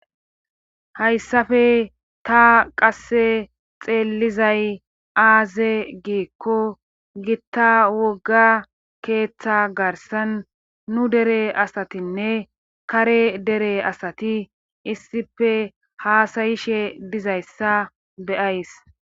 Hayssafe ta qasse xeellizay aaze giikko gitta wogga keeththa garsan nu dere asatinne kare dere asati issife haasayishe dizayssa beyays.